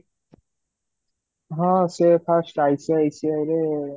ହଁ ସେ first ICICI ରେ